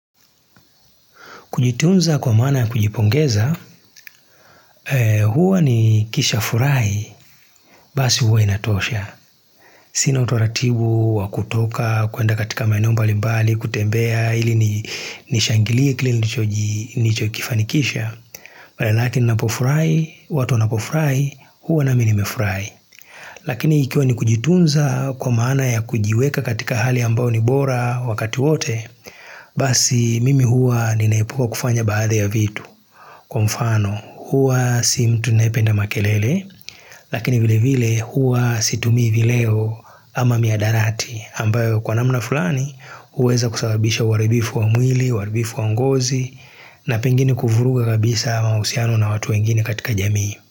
Kujitunza kwa maana ya kujipongeza, huwa ni kisha furai, basi huwa inatosha. Sina utoratibu wa kutoka, kuenda katika maeneo mbalibali, kutembea, ili nishangilie kilili nicho kifanikisha. Maanake ninapofurai watu wanapo furai, huwa nami nimefurai. Lakini ikia ni kujitunza kwa maana ya kujiweka katika hali ambao ni bora wakati wote, basi mimi huwa ninaipuka kufanya baadhi ya vitu. Kwa mfano huwa si mtu neependa makelele lakini vile vile huwa situmi vileo ama miadarati ambayo kwa namna fulani huweza kusawabisha waribifu wa mwili, waribifu wa ngozi na pengini kufuruga kabisa ama usiano na watu wengine katika jamii.